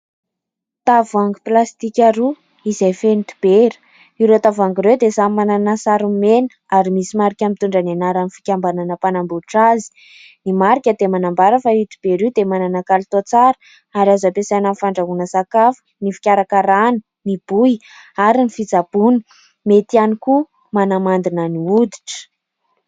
Tavoahangy plastika roa izay feno dibera. Ireo tavoahangy ireo dia samy manana sarony mena ary misy marika mitondra ny anaran'ny fikambanana mpanambotra azy. Ny marika dia manambara fa io dibera io dia manana kalitao tsara ary azo ampiasaina amin'ny fandrahoana sakafo, ny fikarakarana, ny bohy, ary ny fitsaboana. Mety ihany koa manamandina ny hoditra.